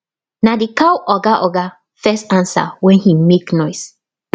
na the cow oga oga first answer when he mak noise